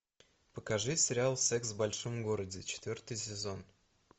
покажи сериал секс в большом городе четвертый сезон